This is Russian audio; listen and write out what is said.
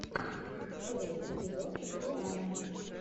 первый эпизод рианна